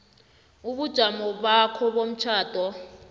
ubujamo bakho bomtjhado